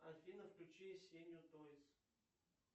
афина включи сеню тойс